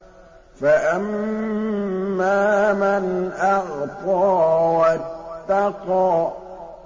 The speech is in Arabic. فَأَمَّا مَنْ أَعْطَىٰ وَاتَّقَىٰ